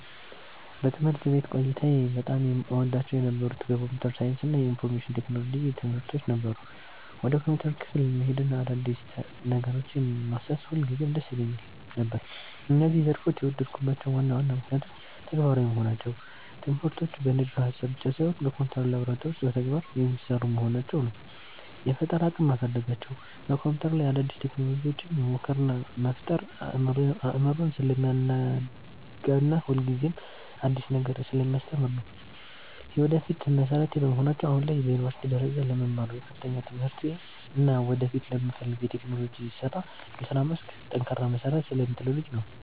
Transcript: በትምህርት ቤት ቆይታዬ በጣም እወዳቸው የነበሩት የኮምፒውተር ሳይንስ እና የኢንፎርሜሽን ቴክኖሎጂ (IT) ትምህርቶች ነበሩ። ወደ ኮምፒውተር ክፍል መሄድና አዳዲስ ነገሮችን ማሰስ ሁልጊዜም ደስ ይለኝ ነበር። እነዚህን ዘርፎች የወደድኩባቸው ዋና ዋና ምክንያቶች፦ ተግባራዊ መሆናቸው፦ ትምህርቶቹ በንድፈ-ሐሳብ ብቻ ሳይሆን በኮምፒውተር ላብራቶሪ ውስጥ በተግባር (Practical) የሚሰሩ በመሆናቸው ነው። የፈጠራ አቅምን ማሳደጋቸው፦ በኮምፒውተር ላይ አዳዲስ ቴክኖሎጂዎችን መሞከር እና መፍጠር አእምሮን ስለሚያናጋና ሁልጊዜም አዲስ ነገር ስለሚያስተምር ነው። የወደፊት መሠረቴ በመሆናቸው፦ አሁን ላይ በዩኒቨርሲቲ ደረጃ ለምማረው የከፍተኛ ትምህርቴ እና ወደፊት ለምፈልገው የቴክኖሎጂ የሥራ መስክ ጠንካራ መሠረት ስለሚጥሉልኝ ነው።